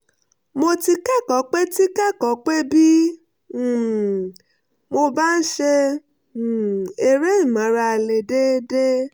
mo ti kẹ́kọ̀ọ́ pé ti kẹ́kọ̀ọ́ pé bí um mo bá ń ṣe um eré ìmárale déédéé